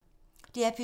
DR P2